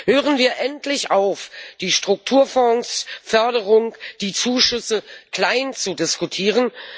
Hören wir endlich auf, die Strukturfondsförderung, die Zuschüsse kleinzudiskutieren!